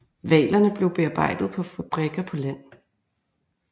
Hvalerne blev bearbejdet på fabrikker på land